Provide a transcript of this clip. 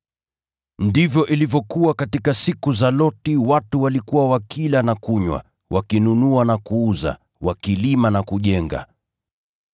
“Ndivyo ilivyokuwa katika siku za Loti: Watu walikuwa wakila na kunywa, wakinunua na kuuza, wakilima na kujenga.